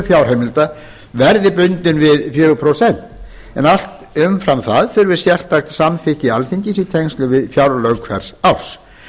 fjárheimilda verði bundinn við fjögur prósent en allt umfram það þurfi sérstakt samþykki alþingis í tengslum við fjárlög hvers árs